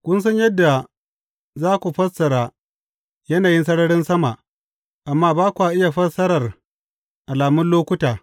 Kun san yadda za ku fassara yanayin sararin sama, amma ba kwa iya fassarar alamun lokuta.